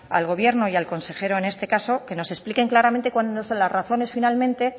al gobierno y al consejero en este caso que nos expliquen claramente cuáles son las razones finalmente